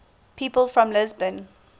people from lisbon